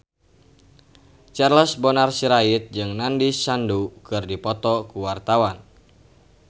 Charles Bonar Sirait jeung Nandish Sandhu keur dipoto ku wartawan